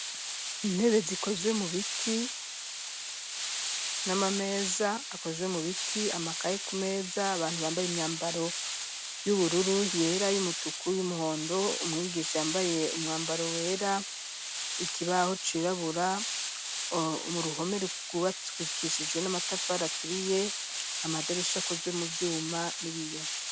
Intebe zikowe mu biti, n'amameza akozwe mu biti, amakaye ku meza abantu bambaye imyambaro y'ubururu, yera ,y'umutuku ,y'umuhondo ,umwigisha yambaye umwambaro wera, ikibaho cirabura ,mu ruhome rwubakishijwe n'amatafari aturiye ,amadirisha akozwe mu vyuma n'ibiyo.